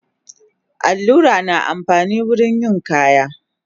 Allura na amfani wurin yin kaya